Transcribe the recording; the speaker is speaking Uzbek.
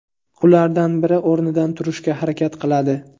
Ulardan biri o‘rnidan turishga harakat qiladi.